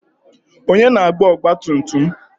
Onye na-agba ọgbatumtum m?